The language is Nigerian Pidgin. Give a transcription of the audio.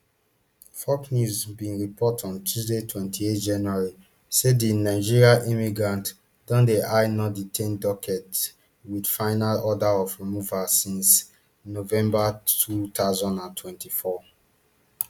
fox news bin report on tuesday twenty-eight january say di nigerian immigrants don dey ice nondetained docket wit final orders of removal since november two thousand and twenty-four